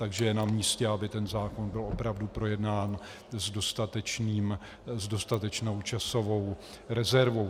Takže je na místě, aby ten zákon byl opravdu projednán s dostatečnou časovou rezervou.